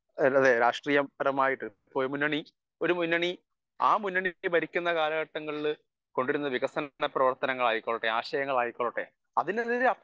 speaker 1 അതെയതെ രാഷ്ട്രീയമായിട്ടു ഒരു മുന്നണി ഭരിക്കുന്ന കാലഘട്ടങ്ങളിൽ വികസനങ്ങൾ ആയിക്കോട്ടെ ആശയങ്ങൾ ആയിക്കൊള്ളട്ടെ അതിനെതിരെ